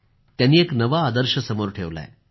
त्यांनी एक नवा आदर्श समोर ठेवला आहे